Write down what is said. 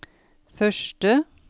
første